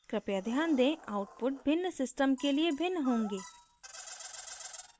कृपया ध्यान देंः output भिन्न system के लिए भिन्न होंगे